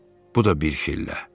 Bu da bir şillə.